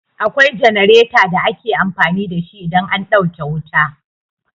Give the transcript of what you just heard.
Akwai jenareta da ake amfani da shi idan an ɗauke wuta.